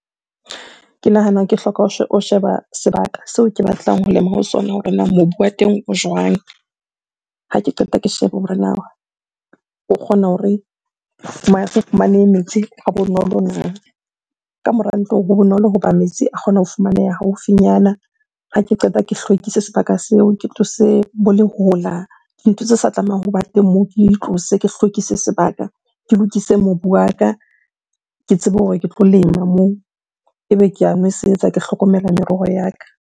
Ke nahana ke hloka ho sheba sebaka seo ke batlang ho lema ho sona hore na mobu wa teng o jwang? Ha ke qeta ke shebe hore na o kgona hore o fumane metsi ha bonolo na? Ka mora ntlo ha bonolo hoba metsi a kgona ho fumaneha haufinyana. Ha ke qeta ke hlwekise sebaka seo, ke tlose bo lehola, dintho tse sa tlamehang hoba teng moo ke di tlose. Ke hlwekise sebaka, ke lokise mobu wa ka, ke tsebe hore ke tlo lema moo. Ebe ke a nwesetsa, ke hlokomela meroho ya ka.